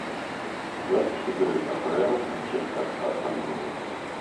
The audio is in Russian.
запись игры апл манчестер астон вилла